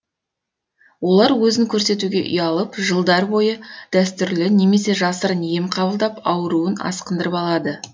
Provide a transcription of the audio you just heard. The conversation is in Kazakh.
олар өзін көрсетуге ұялып жылдар бойы дәстүрлі немесе жасырын ем қабылдап ауруын асқындырып алады